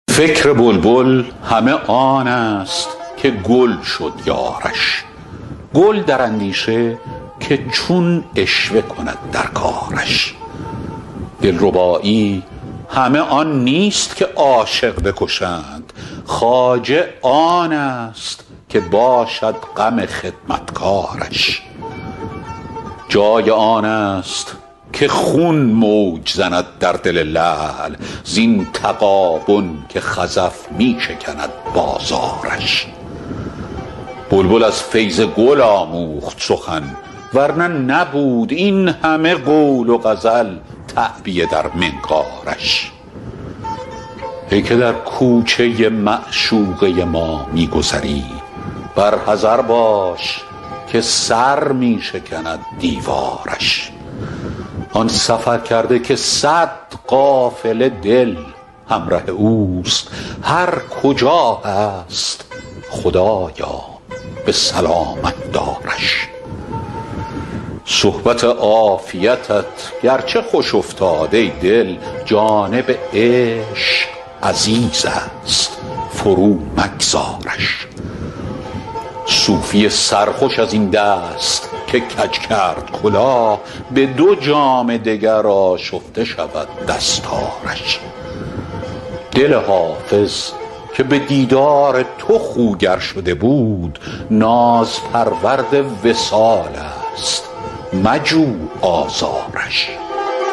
فکر بلبل همه آن است که گل شد یارش گل در اندیشه که چون عشوه کند در کارش دلربایی همه آن نیست که عاشق بکشند خواجه آن است که باشد غم خدمتکارش جای آن است که خون موج زند در دل لعل زین تغابن که خزف می شکند بازارش بلبل از فیض گل آموخت سخن ور نه نبود این همه قول و غزل تعبیه در منقارش ای که در کوچه معشوقه ما می گذری بر حذر باش که سر می شکند دیوارش آن سفرکرده که صد قافله دل همره اوست هر کجا هست خدایا به سلامت دارش صحبت عافیتت گرچه خوش افتاد ای دل جانب عشق عزیز است فرومگذارش صوفی سرخوش از این دست که کج کرد کلاه به دو جام دگر آشفته شود دستارش دل حافظ که به دیدار تو خوگر شده بود نازپرورد وصال است مجو آزارش